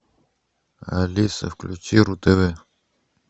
алиса включи ру тв